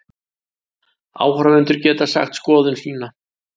Áhorfendur geta sagt sína skoðun